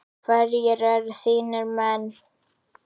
Hverjir eru þínir menn?